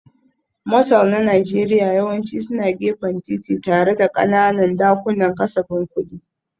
Motel na Najeriya yawanci suna gefen titi tare da ƙananan dakunan kasafin kuɗi.